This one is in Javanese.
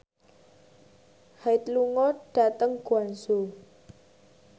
Hyde lunga dhateng Guangzhou